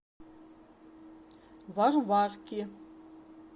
варварки